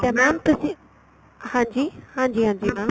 ਠੀਕ ਏ mam ਤੁਸੀਂ ਹਾਂਜੀ ਹਾਂਜੀ ਹਾਂਜੀ mam